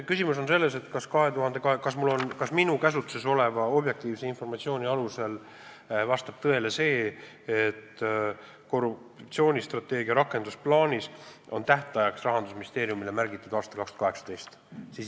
Küsimus on selles, kas minu käsutuses oleva objektiivse informatsiooni alusel vastab tõele see, et korruptsioonivastase strateegia rakendusplaanis on Rahandusministeeriumile märgitud tähtajaks aasta 2018.